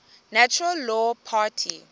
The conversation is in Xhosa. natural law party